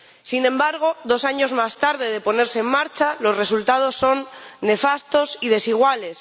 Sin embargo, dos años después de ponerse en marcha, los resultados son nefastos y desiguales.